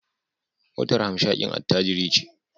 Motar hamshakin attajiri ce